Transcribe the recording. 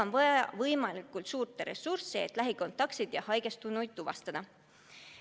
On vaja võimalikult suurt ressurssi, et lähikontaktseid ja haigestunuid tuvastada.